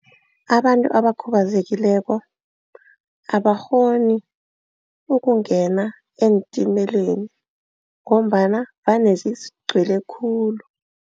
Abantu abakhubazekileko abakghoni ukungena eentimeleni ngombana vane zigcwele khulu.